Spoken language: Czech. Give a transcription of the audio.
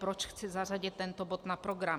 Proč chci zařadit tento bod na program.